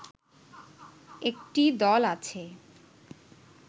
একটি দল আছে